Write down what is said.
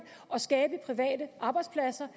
og skabe private arbejdspladser